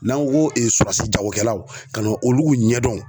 N'an ko jagokɛlaw ka n'olu ɲɛdɔn.